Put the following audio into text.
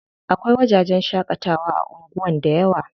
Akwai wajajen shaƙatawa a anguwan dayawa.